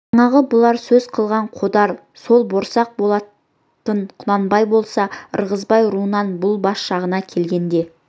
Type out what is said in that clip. жаңағы бұлар сөз қылған қодар сол борсақ болатын құнанбай болса ырғызбай руынан бұл бас жағына келгенде